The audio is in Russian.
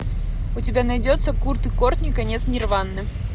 у тебя найдется курт и кортни конец нирваны